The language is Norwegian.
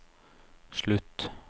slutt